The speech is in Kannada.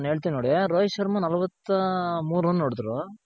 ನಾನ್ ಹೇಳ್ತಿನ್ ನೋಡಿ ರೋಹಿತ್ ಶರ್ಮ ನಲವತ್ತ ಮೂರ್ run ಹೊಡೆದ್ರು.